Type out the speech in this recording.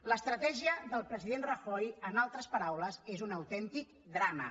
l’estratègia del president rajoy en altres paraules és un autèntic drama